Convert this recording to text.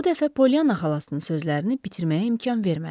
Bu dəfə Polyanna xalasının sözlərini bitirməyə imkan vermədi.